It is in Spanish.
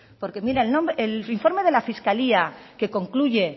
porque mire el informe de la fiscalía que concluye